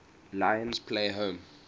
lions play home